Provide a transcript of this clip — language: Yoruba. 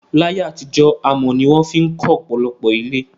Láyé àtijó, amò ni won fi kó òpòlopò ilé